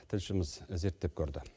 тілшіміз зерттеп көрді